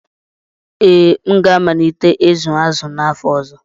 Ee, m ga-amalite ịzụ azụ n'afọ ọzọ.